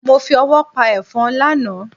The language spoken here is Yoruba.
Mo fi ọwọ́ pa ẹ̀fọ́n lánàá.